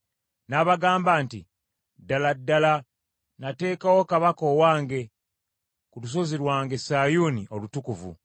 N’abagamba nti, “Ddala ddala nateekawo kabaka owange ku lusozi lwange Sayuuni olutukuvu.”